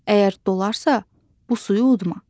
Əgər dolarsa, bu suyu udma.